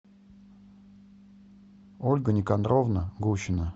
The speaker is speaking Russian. ольга никандровна гущина